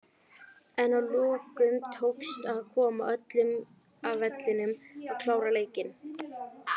En að lokum tókst að koma öllum af vellinum og klára leikinn.